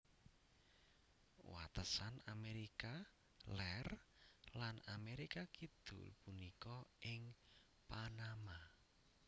Watesan Amérika Lèr lan Amérika Kidul punika ing Panama